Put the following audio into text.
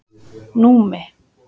Númi